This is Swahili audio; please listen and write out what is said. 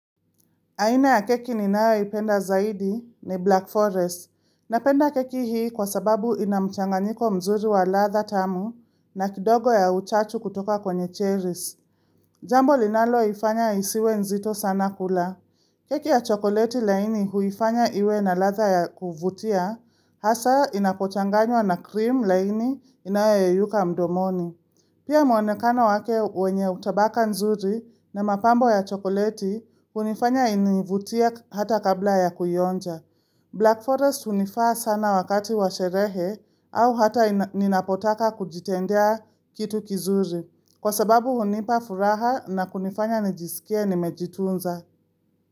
Aina ya keki ninayoipenda zaidi ni Black Forest. Napenda keki hii kwa sababu ina mchanganyiko mzuri wa ladha tamu na kidogo ya uchachu kutoka kwenye cherries. Jambo linaloifanya isiwe nzito sana kula. Keki ya chokoleti laini huifanya iwe na ladha ya kuvutia. Hasa inapochanganywa na cream laini inayayuka mdomoni. Pia mwonekano wake wenye utabaka nzuri na mapambo ya chokoleti, unifanya inivutia hata kabla ya kuionja. Black Forest hunifaa sana wakati wa sherehe au hata ninapotaka kujitendea kitu kizuri. Kwa sababu hunipa furaha na kunifanya nijisikie nimejitunza.